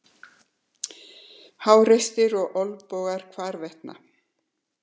Háreysti og olnbogar hvarvetna.